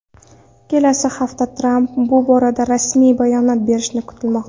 Kelasi hafta Tramp bu borada rasmiy bayonot berishi kutilmoqda.